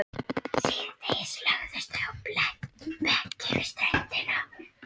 Síðdegis lögðust þau á bekki við ströndina.